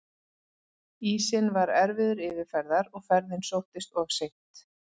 Ísinn var erfiður yfirferðar og ferðin sóttist of seint.